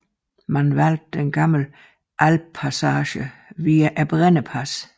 Man valgte den gamle alpepassage via Brennerpasset